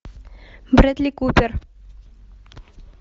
брэдли купер